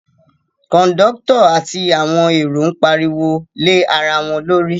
Kọ̀ndọ́tọ̀ àti àwọn èrò ń pariwo lé ara wọn lórí